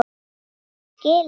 Er hann skilinn?